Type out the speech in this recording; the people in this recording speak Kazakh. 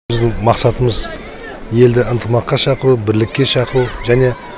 біздің мақсатымыз елді ынтымаққа шақыру бірлікке шақыру және